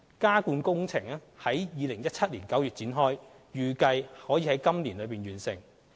加固工程已於2017年9月展開，預計可以今年內完成。